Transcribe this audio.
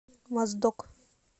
моздок